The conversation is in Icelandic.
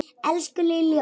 Elsku Lillý okkar.